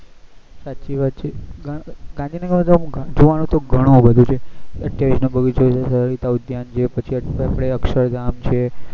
સાચી વાત છે ગાંધીનગર માં જોવાનું તો ઘણું બધું છે અઠયાવીસ number નો બગીચો સરીતા ઉધાયન છે પછી આપડે અક્ષર ધામ છે